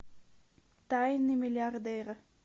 тайны миллиардера